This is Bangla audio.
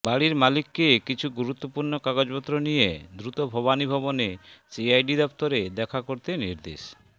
বাড়ির মালিককে কিছু গুরুত্বপূর্ণ কাগজপত্র নিয়ে দ্রুত ভবানীভবনে সিআইডি দফতরে দেখা করতে নির্দেশ